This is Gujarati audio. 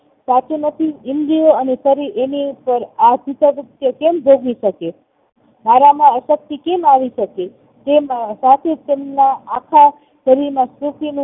સાચું નથી ઈન્દ્રીઓ અને શરીર એની ઉપર આ કેમ ભોગવી શકે મારા માં અશક્તિ કેમ આવીશકે તેમ સાચું તેમના આખા શરીરના